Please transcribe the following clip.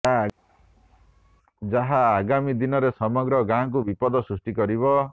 ଯାହା ଆଗାମୀ ଦିନରେ ସମଗ୍ର ଗାଁକୁ ବିପଦ ସୃଷ୍ଟି କରିବ